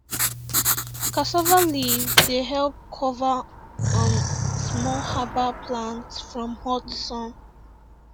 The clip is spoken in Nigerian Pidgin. cassava leaf dey help cover um small herbal plant from hot sun